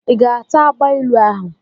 I ga-ata agbailu ahụ?